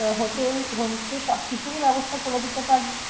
home stay সব কিছুই ব্যবস্থা করে দিতে পারবেন